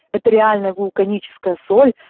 это реальная вулканическая соль